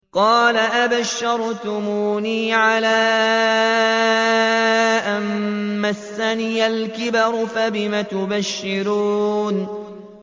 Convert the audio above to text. قَالَ أَبَشَّرْتُمُونِي عَلَىٰ أَن مَّسَّنِيَ الْكِبَرُ فَبِمَ تُبَشِّرُونَ